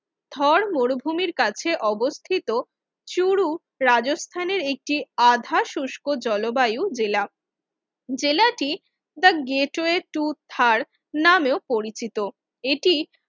থর মরুভূমির কাছে অবস্থিত চুরু রাজস্থানের একটি শুষ্ক জলবায়ুর জেলা টি দ্যা গেটওয়ে টু থার নামে পরিচিত এটি